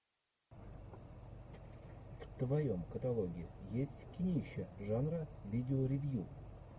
в твоем каталоге есть кинище жанра видеоревью